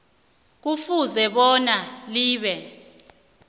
kufuze bona libe